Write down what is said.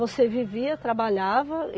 Você vivia, trabalhava.